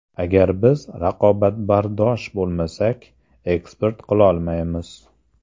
Agar biz raqobatbardosh bo‘lmasak, eksport qilolmaymiz.